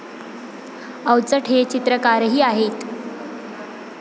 अवचट हे चित्रकारही आहेत.